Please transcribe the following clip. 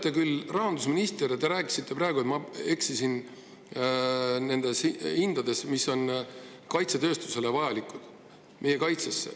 Te olete rahandusminister ja ütlesite praegu, et ma eksisin nendes summades, mis on kaitsetööstusele vajalikud meie kaitseks.